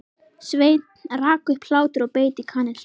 Sveinn rak upp hlátur og beit í kanilsnúð.